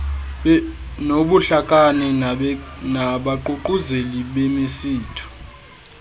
nobuhlakani nabaququzeleli bemisitho